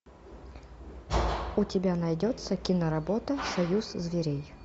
у тебя найдется киноработа союз зверей